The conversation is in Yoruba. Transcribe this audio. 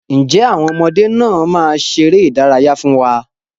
Ǹjẹ́ àwọn ọmọdé náà máa ṣeré ìdárayá fún wa?